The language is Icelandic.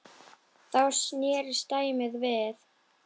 Þá snerist dæmið við.